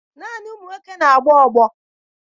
Naanị ụmụ nwoke na-agba ọgbọ